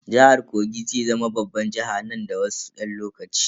Jihar Kogi zai zama babban jiha nan da wasu dan lokaci.